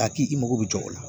Ka k'i mago bɛ jɔ o la